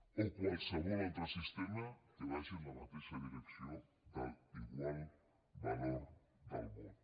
o de qualsevol altre sistema que vagi en la mateixa direcció de l’igual valor del vot